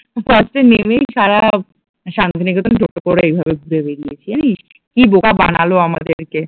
first এ নেমেই সারা শান্তিনিকেতন টোটো করে এভাবে ঘুরিয়ে বেরিয়েছে জানিস কি বোকা বানালো আমাদেরকে